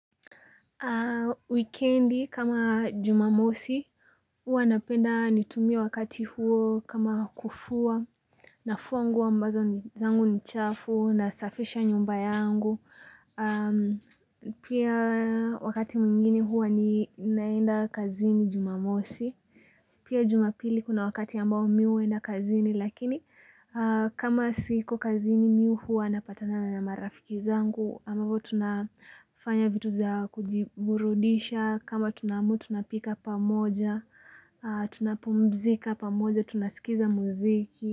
Weekendi kama Jumamosi, hua napenda nitumie wakati huo kama kufua, nafua nguo mbazo zangu ni chafu, nasafisha nyumba yangu. Pia wakati mwingine huwa ninaenda kazini Jumamosi. Pia Jumapili kuna wakati ambao mi huenda kazini, lakini kama siko kazini mi huwa napatana na marafiki zangu. Ambapo tunafanya vitu za kujiburudisha kama tunaamua tunapika pamoja tunapumzika pamoja tunaskiza muziki.